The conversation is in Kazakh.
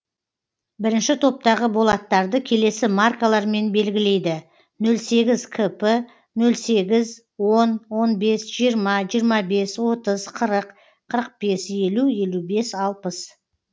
бірінші топтағы болаттарды келесі маркалармен белгілейді нөл сегіз кп нөл сегіз он он бес жиырма жиырма бес отыз қырық қырық бес елу елу бес алпыс